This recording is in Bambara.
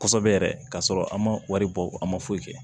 Kosɛbɛ yɛrɛ k'a sɔrɔ an ma wari bɔ an ma foyi kɛ